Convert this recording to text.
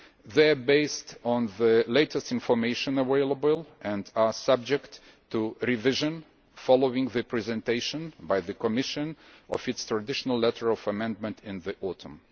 They are based on the latest information available and are subject to revision following the presentation by the Commission of its traditional letter of amendment in the autumn.